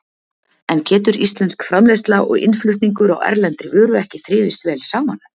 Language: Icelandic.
En getur íslensk framleiðsla og innflutningur á erlendri vöru ekki þrifist vel saman?